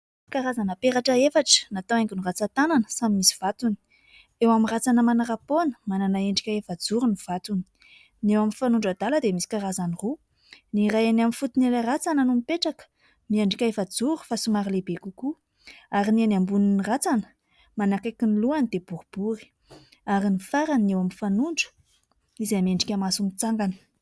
Karazana peratra efatra natao haingo ny ratsan-tanana samy misy vatony, eo amin'ny ratsana manarapoana manana endrika efajoro ny vatony, ny eo amin'ny fanondro adala dia misy karazany roa : ny iray eny amin'ny fotony ilay ratsana no mipetraka miendrika efajoro fa somary lehibe kokoa ary ny eny ambonin'ny ratsana manakaiky ny lohany dia boribory ary ny farany eo amin'ny fanondro izay miendrika maso mitsangana.